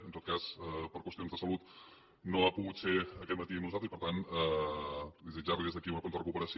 en tot cas per qüestions de salut no ha pogut ser aquest matí amb nosaltres i per tant desitjar li des d’aquí una prompta recuperació